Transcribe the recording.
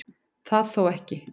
Það þó ekki